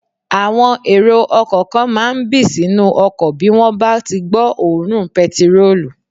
Àwọn èrò ọkọ̀ kan máà ń bì sínú ọkọ̀ bí wọ́n bá tí gbọ́ òórùn pẹtirólù